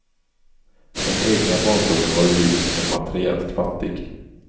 Den egna barndomen var ljus, men materiellt fattig.